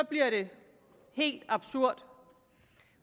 bliver det helt absurd